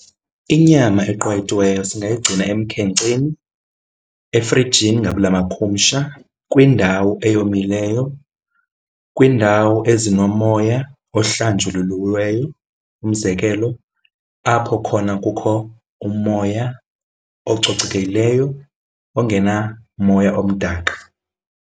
Inyama eqwayitiweyo singayigcina emkhenkceni, efrijini ngabula makhumsha, kwindawo eyomileyo, kwindawo ezinomoya ohlanjululiweyo. Umzekelo apho khona kukho umoya ococekileyo ongenamoya omdaka.